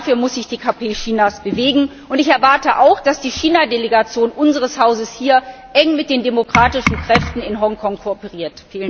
Dafür muss sich die KP Chinas bewegen. Ich erwarte auch, dass die China Delegation unseres Hauses hier eng mit den demokratischen Kräften in Hongkong kooperiert.